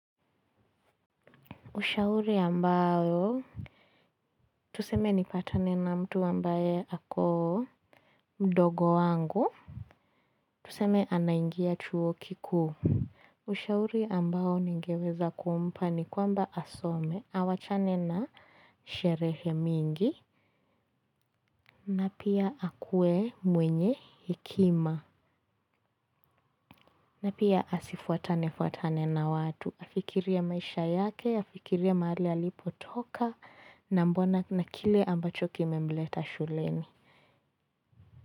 Ushauri ambayo, tuseme nipatane na mtu ambaye ako mdogo wangu. Tuseme anaingia chuo kikuu. Ushauri ambao ningeweza kumpa ni kwamba asome. Awachane na sherehe mingi. Na pia akuwe mwenye hekima. Na pia asifuatane fuatane na watu. Afikirie maisha yake, afikirie mahali alipotoka. Na mbona na kile ambacho kimemleta shuleni.